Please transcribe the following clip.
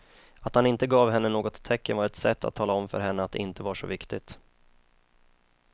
Att han inte gav henne något tecken var ett sätt att tala om för henne att det inte var så viktigt.